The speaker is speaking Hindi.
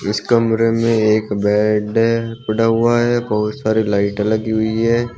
इस कमरे में एक बेड पड़ा हुआ है बहुत सारी लाइट लगी हुई है।